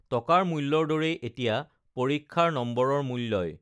টকাৰ মূ্ল্যৰ দৰেই এতিয়া পৰীক্ষাৰ নম্বৰৰ মূল্যই